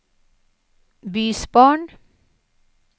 bysbarn